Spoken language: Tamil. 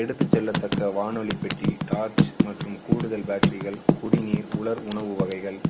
எடுத்துச் செல்லத் தக்க வானொலி பெட்டி, torch மற்றும் கூடுதல் battery கள், குடிநீர், உலர் உணவு வகைகள்,